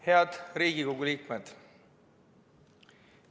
Head Riigikogu liikmed!